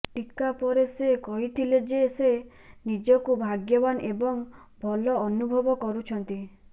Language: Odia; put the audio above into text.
ଟିକା ପରେ ସେ କହିଥିଲେ ଯେ ସେ ନିଜକୁ ଭାଗ୍ୟବାନ ଏବଂ ଭଲ ଅନୁଭବ କରୁଛନ୍ତି